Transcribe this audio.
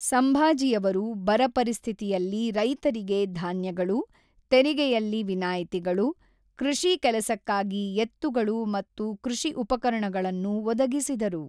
ಸಂಭಾಜಿಯವರು ಬರ ಪರಿಸ್ಥಿತಿಯಲ್ಲಿ ರೈತರಿಗೆ ಧಾನ್ಯಗಳು, ತೆರಿಗೆಯಲ್ಲಿ ವಿನಾಯಿತಿಗಳು, ಕೃಷಿ ಕೆಲಸಕ್ಕಾಗಿ ಎತ್ತುಗಳು ಮತ್ತು ಕೃಷಿ ಉಪಕರಣಗಳನ್ನು ಒದಗಿಸಿದರು.